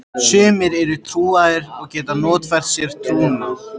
Sumir eru trúaðir og geta notfært sér trúna.